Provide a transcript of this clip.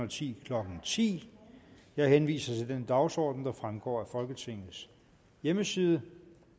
og ti klokken ti jeg henviser til den dagsorden der fremgår af folketingets hjemmeside